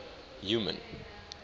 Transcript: human